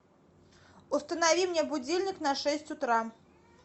установи мне будильник на шесть утра